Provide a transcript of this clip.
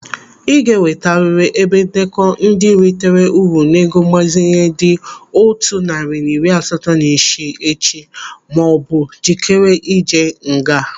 Ị ga-ewetarịrị ebe ndekọ ndị ritara uru n'ego mgbazinye dị otu narị na iri asatọ na isii echi maọbụ ijikere ije nga.